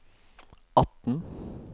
atten